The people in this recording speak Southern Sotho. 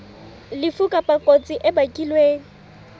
lefu kapa kotsi e bakilweng